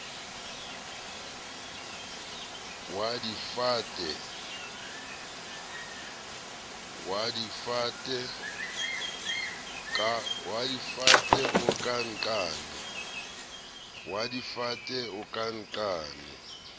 wa difate o ka nqane